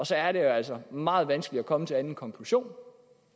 så er det jo altså meget vanskeligt at komme til en anden konklusion